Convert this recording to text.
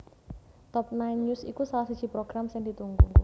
Top Nine News iku salah siji program sing ditunggu